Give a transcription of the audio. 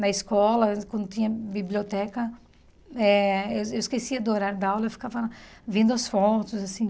Na escola, quando tinha biblioteca, eh eu esquecia do horário da aula, eu ficava vendo as fotos, assim.